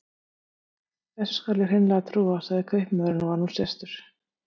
Þessu skal ég hreinlega trúa, sagði kaupmaðurinn og var nú sestur.